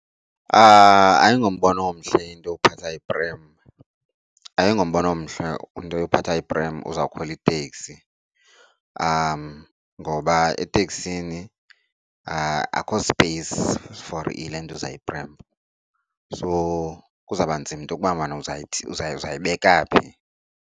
Ayingombono omhle into yophatha iprem, ayingombono omhle into yophatha iprem uzawukhwela iteksi ngoba eteksini akho space for ilentuza, iprem, so kuzawuba nzima into yokubana uzayithini. Uzayibeka phi?